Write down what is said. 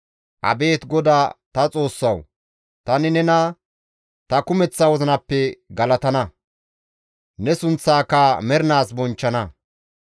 Abeet Godaa ta Xoossawu! Tani nena ta kumeththa wozinappe galatana; Ne sunththaaka mernaas bonchchana.